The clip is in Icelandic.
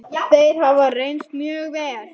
Þeir hafa reynst mjög vel.